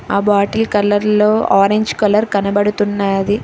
ఆ bottle colour లో orange colour కనపడుతున్నాది.